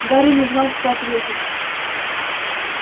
гарри не знал что ответить